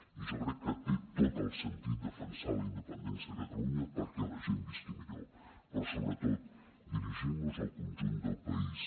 i jo crec que té tot el sentit defensar la independència de catalunya perquè la gent visqui millor però sobretot dirigint nos al conjunt del país